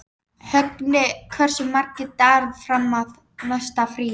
Högni, hversu margir dagar fram að næsta fríi?